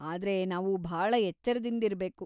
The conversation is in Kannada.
ಆದ್ರೆ ನಾವು ಭಾಳ ಎಚ್ಚರ್ದಿಂದಿರ್ಬೇಕು.